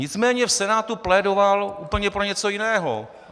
Nicméně v Senátu plédoval úplně pro něco jiného.